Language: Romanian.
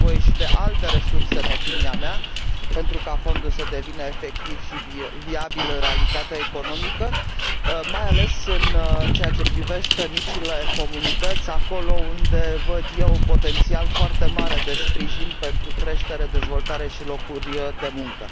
Este nevoie și de alte resurse, în opinia mea, pentru ca fondul să devină efectiv și viabil în realitatea economică, mai ales în ceea ce privește micile comunități, acolo unde văd eu un potențial foarte mare de sprijin pentru creștere, dezvoltare și locuri de muncă.